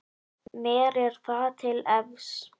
Mér er það til efs.